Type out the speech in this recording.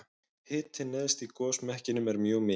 hitinn neðst í gosmekkinum er mjög mikill